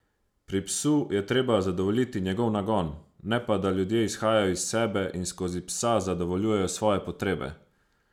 Pri psu je treba zadovoljiti njegov nagon, ne pa, da ljudje izhajajo iz sebe in skozi psa zadovoljujejo svoje potrebe.